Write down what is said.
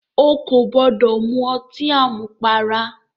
O kò gbọ́dọ̀ mu ọtí àmupara!